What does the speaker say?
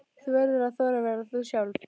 Þú verður að þora að vera þú sjálf.